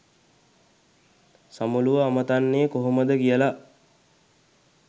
සමුළුව අමතන්නෙ කොහොමද කියලා.